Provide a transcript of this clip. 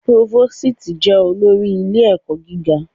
Próvósìtì jẹ olórí ilé-ẹ̀kọ́ gíga.